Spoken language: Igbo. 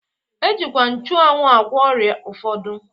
E jikwa nchuanwu agwọ ọrịa ụfọdụ.